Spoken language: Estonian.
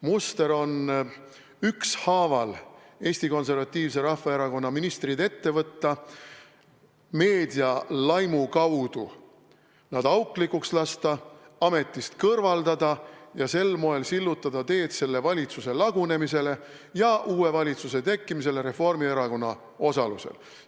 Muster on Eesti Konservatiivse Rahvaerakonna ministrid ükshaaval ette võtta, meedia laimu abil nad auklikuks lasta, ametist kõrvaldada ja sel moel sillutada teed selle valitsuse lagunemisele ja sellele, et tekiks uus valitsus Reformierakonna osalusel.